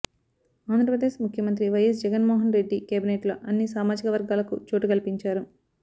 ఆంధ్రప్రదేశ్ ముఖ్యమంత్రి వైఎస్ జగన్ మోహన్రెడ్డి కేబినెట్లో అన్ని సామాజిక వర్గాలకు చోటు కల్పించారు